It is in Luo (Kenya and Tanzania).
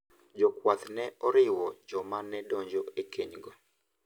Jakwath ne oriwo joma ne donjo e keny go.